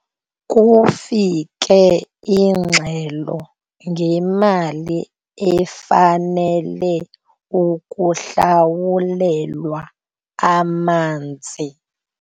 Kufike ingxelo ngemali efanele ukuhlawulelwa amanzi.